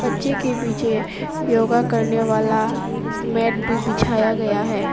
बच्चे के पीछे योगा करने वाला मैट भी बिछाया गया है।